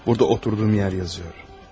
Burada qaldığım yer yazılıb.